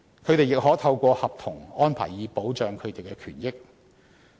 他們亦可透過合約安排，以保障其權益。